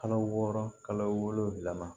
Kalo wɔɔrɔ kalo wolonwula